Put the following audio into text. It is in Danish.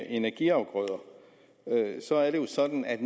energiafgrøder så er det jo sådan at